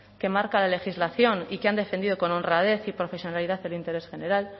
que marca la legislación y que han defendido con honradez y profesionalidad el interés general